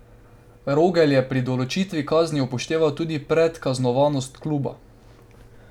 Rogelj je pri določitvi kazni upošteval tudi predkaznovanost kluba.